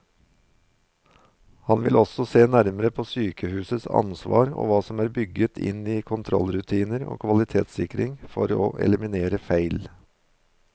Han vil også se nærmere på sykehusets ansvar og hva som er bygget inn i kontrollrutiner og kvalitetssikring for å eliminere feil.